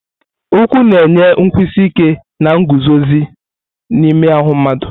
Ụkwụ na-enye nkwụsi ike na nguzozi n'ime ahụ mmadụ.